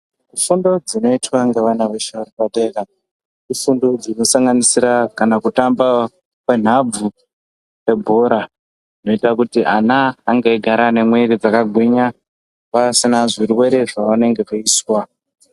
Fundo dzinoitwa ngevana veshe vari padera, ifundo dzinosanganisira kana kutamba kwenhabvu kwebhora, zvinoita kuti ana ange eigara ane mwiri dzakagwinya, pasina zvirwere zvavanenge veizwa.